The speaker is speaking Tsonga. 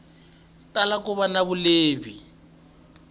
tala ku va na vulehi